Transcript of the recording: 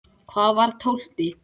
Hvað var tólfti?